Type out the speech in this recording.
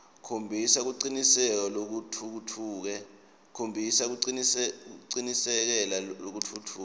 khombisa kucikelela lokutfutfuke